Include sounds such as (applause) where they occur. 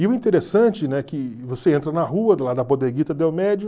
E o interessante é que você entra na rua do lado (unintelligible) Del Medio.